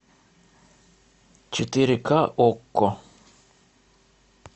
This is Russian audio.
четыре к окко